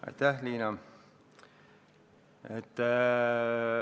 Aitäh, Liina!